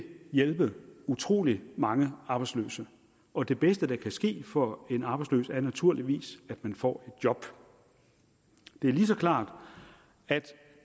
hjælpe utrolig mange arbejdsløse og det bedste der kan ske for en arbejdsløs er naturligvis at man får job det er lige så klart at